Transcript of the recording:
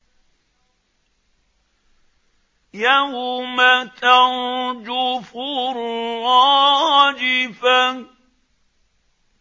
يَوْمَ تَرْجُفُ الرَّاجِفَةُ